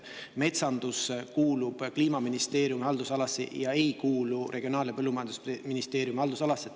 Metsandus kuulub Kliimaministeeriumi haldusalasse, ei kuulu Regionaal- ja Põllumajandusministeeriumi haldusalasse.